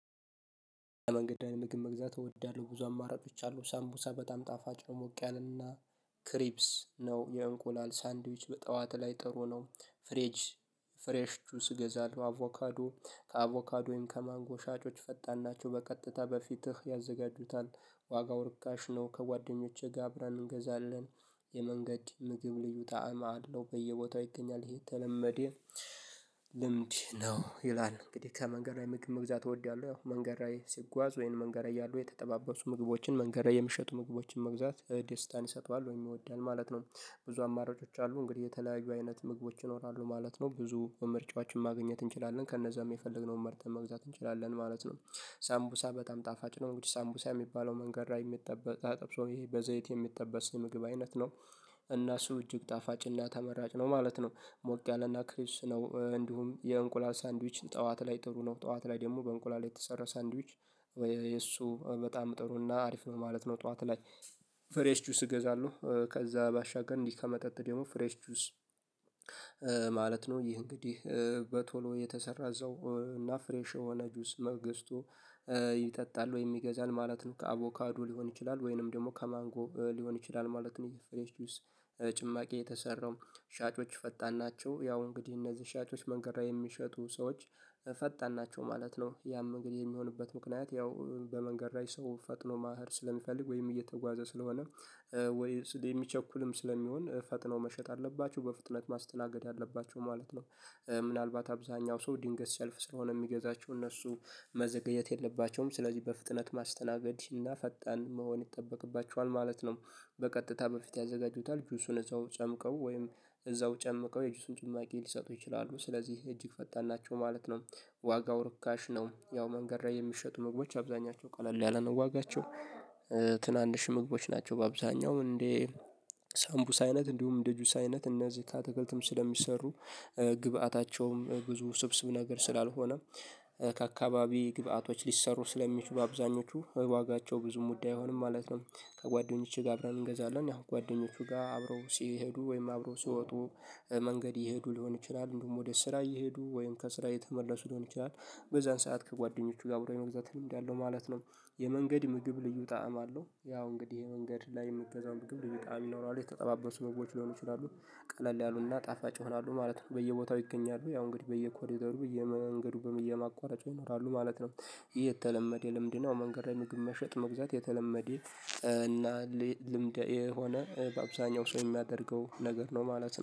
መንገድ ዳር ምግብ መግዛት እወዳለሁ ብዙ አማራጮች አሉ። ሳምቡሳ በጣም ጣፋጭ ነው። ሞቅ ያለ እና ክሪፕስ ነው የእንቁላል ሳንድዊች በጠዋት ላይ ጥሩ ነው። ፍሬጅ ፍሬሽ ጁስ እገዛለሁ አቮካዶ ከአቮካዶ ወይም ከማንጎ ሻጮች ፈጣን ናቸው በቀጥታ በፊትህ ያዘጋጁታል። ዋጋው ርካሽ ነው። ከጓደኞቼ ጋ አብራን እንገዛለን። የመንገድ ምግብ ልዩ ጣአማ አለው በየ ቦታው ይገኛል ይህ ተለመደ ልምድ ነው። ይላል እንግዲህ ከመንገድ ላይ ምግብ መግዛት እወዳለሁ። ያው መንገድ ላይ ሲጓዝ ወይን መንገድ ያሉ የተጠባበሱ ምግቦችን መንገድ የምሸጡ ምግቦችን መግዛት ደስታን ይሰጠዋል ወይም ይወዳል ማለት ነው። ብዙ አማራጮች አሉ እንግዲህ የተለያዩ አይነት ምግቦች ይኖራሉ ማለት ነው። ብዙ ምርጫችወችን ማግኘት እንችላለን ከነዛም የፈለግነውን መርጠን መግዛት እንችላለን ማለት ነው። ሳምቡሳ በጣም ጣፋጭ ነው እንግዲህ ሳምቡሳ ሚባለው መንገድ የሚጠበጥ ተጠብሶ ይሄ በዘይት የሚጠበስ ምግብ አይነት ነው። እና እሱ እጅግ ጣፋጭና እና ተመራጭ ነው ማለት ነው። ሞቅ ያለና ክሪፕስ ነው እንዲሁም የእንቁላል ሳንድዊች ጠዋት ላይ ጥሩ ነው። ጠዋት ላይ ደግሞ በእንቁላል የተሰራ ሳንድዊች ወይ እሱ በጣም ጥሩና አሪፍ ነው ማለት ነው። ጠዋት ላይ ፍሬሽ ጁስ እገዛሉ ከዛ ባሻገር እንዲህ ከመጠጥ ደግሞ ፍሬሽ ጁስ። ማለት ነው ይህ እንግዲህ በቶሎ የተሰራ እዛው እና ፍሬሽ የሆነ ጁስ መ ግዝቶ ይጠጣል ወይ ይገዛል ማለት ነው። ከአቮካዶ ሊሆን ይችላል ወይንም ደግሞ ከማንጎ ሊሆን ይችላል ማለት ነው። ይህ ፍሬሽ ጁስ ጭማቂ የተሰራው ሻጮች ፈጣን ናቸው ያው እንግዲህ እነዚህ ሻጮች መንገድ የሚሸጡ ሰዎች ፈጣን ናቸው ማለት ነው። ያም እንግዲህ የሚሆንበት ምክንያት ያው በመንገድ ላይ ሰው ፈጥኖ መህድ ስለሚፈልግ ወይም እየተጓዘ ስለሆነ። ወይስ የሚቸኩልም ስለሚሆን ፈጥነው መሸጥ አለባቸው በፍጥነት ማስተናገድ አለባቸው ማለት ነው። ምናልባት አብዛኛው ሰው ድንገት ሰልፍ ስለሆነ የሚገዛቸው እነሱ መዘገየት የለባቸውም ስለዚህ በፍጥነት ማስተናገድ እና ፈጣን መሆን ይጠበቅባቸዋል ማለት ነው። በቀጥታ በፊት ያዘጋጁታል ጁሱን እዛው ጨምቀው ወይም እዛው ጨምቀው የጁሱን ጭማቂ ሊሰጡ ይችላሉ ስለዚህ እጅግ ፈጣን ናቸው ማለት ነው። ዋጋው ርካሽ ነው ያው መንገድ ላይ የሚሸጡ ምግቦች አብዛኛቸው ቀለል ያለ ነው ዋጋቸው ትናንሽ ምግቦች ናቸው። በአብዛኛው እንዴ ሳምቡሳ አይነት እንዲሁም እንደ ጁስ አይነት እነዚህ ካትክልትም ስለሚሰሩ ግብአታቸውም ብዙ ስብስብ ነገር ስላልሆነ ከአካባቢ ግብአቶች ሊሰሩ ስለሚችሉ አብዛኞቹ ዋጋቸው ብዙም ውድ አይሆንም ማለት ነው። ከጓደኞቼ ጋር አብረን እንገዛለን ያው ጓደኞቹ ጋር አብረው ሲሄዱ ወይም አብረው ሲወጡ መንገድ ይሄዱ ሊሆን ይችላል እንደውም ወደ ስራ እየሄዱ ወይም ከስራ እየተመለሱ ሊሆን ይችላል። በዛን ሰዓት ከጓደኞቹ ጋር አብሮ የመግዛት ልምድ ያለው ማለት ነው። የመንገድ ምግብ ልዩ ጣዕም አለው ያው እንግዲህ ይሄ መንገድ ላይ የምገዛው ምግብ ልዩ ጣዕም ይኖራሉ የተጠባበሱ ምግቦች ሊሆኑ ይችላሉ ቀለል ያሉና ጣፋጭ ይሆናሉ ማለት ነው። በየቦታው ይገኛሉ ያው እንግዲህ በየኮሪደሩ በየመንገዱ በየማቋረጫው ይኖራሉ ማለት ነው። የተለመደ ልምድ ነው መንገድ ላይ ምግብ መሸጥ መግዛት የተለመደ እና ልምድ የሆነ በአብዛኛው ሰው የሚያደርገው ነገር ነው ማለት ነው